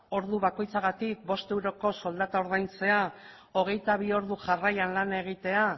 ordu bakoitzagatik bost euroko soldata ordaintzea hogeita bi ordu jarraian lan egitea